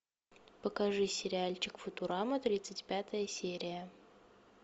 покажи сериальчик футурама тридцать пятая серия